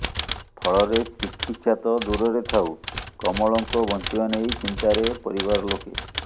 ଫଳରେ ଚିକିତ୍ସା ତ ଦୁରରେ ଥାଉ କମଳଙ୍କ ବଞ୍ଚିବା ନେଇ ଚିନ୍ତାରେ ପରିବାର ଲୋକେ